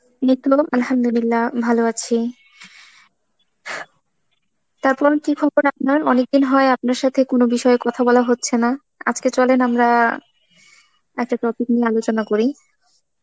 এই তো Arbi ভালো আছি. তারপর, কি খবর আপনার? অনেকদিন হয় আপনার সাথে কোনো বিষয় কথা বলা হচ্ছে না.আজকে চলেন আমরা একটা topic নিয়ে আলোচনা করি.